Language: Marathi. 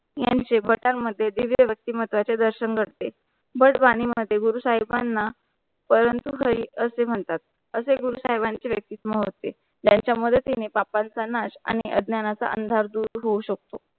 यांचे भटांमध्ये दिव्य व्यक्तिमतचा दर्शन करते भट वाणी मध्ये गुरु साहिब बांना परंतु हरी असे म्हणतात, असे गुरुसाहिबांचा व्यक्तित्व होते. त्यांचा मदतीने पापांचा नाश आणि अज्ञानाचा अंधार दूर होऊ शकतो.